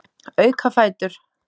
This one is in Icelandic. Auka fætur.